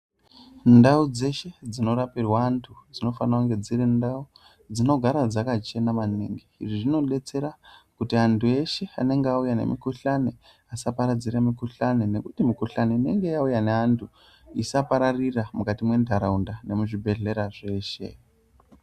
Ndau dzeshe dzinorapirwa anhu dzinofane kunge dziri ndau dzinogara dzakachena maningi izvi zvinodetsera kuti anhu eshe anenge auya nemukhuhlani asaparadzire mukhuhlani nekuti mikhuhlani inonenge yauya neanhu isapararire mukati mwenharaunda nemuzvibhehlera zveshe.